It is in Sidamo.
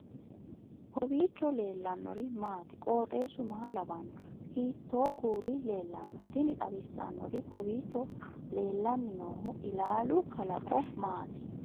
kowiicho leellannori maati ? qooxeessu maa lawaanno ? hiitoo kuuli leellanno ? tini xawissannori kowiicho leellanni noohu ilaalu kalaqo maati